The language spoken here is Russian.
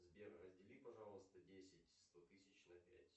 сбер раздели пожалуйста десять сто тысяч на пять